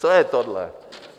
Co je tohle?